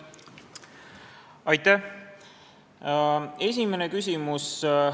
Aitäh!